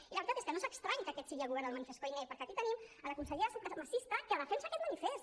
i la veritat és que no és estrany que aquest sigui el govern del manifest koiné perquè aquí tenim a la consellera supremacista que defensa aquest manifest